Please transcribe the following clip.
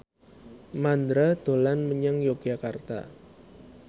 Mandra dolan menyang Yogyakarta